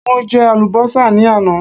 mo je alubosa ni àná